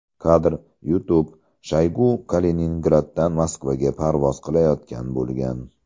Kadr: YouTube Shoygu Kaliningraddan Moskvaga parvoz qilayotgan bo‘lgan.